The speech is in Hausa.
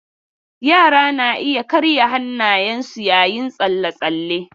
Yara na iya karya hannayensu yayin tsalle-tsalle.